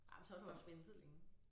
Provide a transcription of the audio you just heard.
Ej men så har du også ventet længe